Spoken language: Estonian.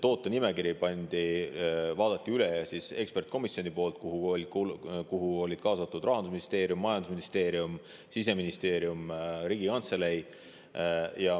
Tootenimekirjad vaatas üle ekspertkomisjon, kuhu olid kaasatud Rahandusministeerium, majandusministeerium, Siseministeerium ja Riigikantselei.